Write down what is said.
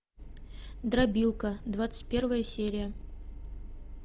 дробилка двадцать первая серия